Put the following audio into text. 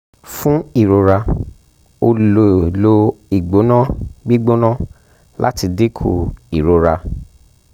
fun irora o le lo igbona gbigbona lati dinku irora